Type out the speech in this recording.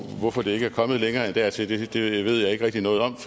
hvorfor det ikke er kommet længere end dertil ved jeg ikke rigtig noget om